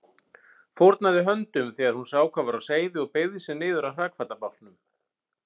Fórnaði höndum þegar hún sá hvað var á seyði og beygði sig niður að hrakfallabálknum.